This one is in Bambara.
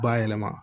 Bayɛlɛma